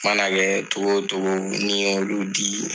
mana kɛ cogo o cogo n'i y'olu di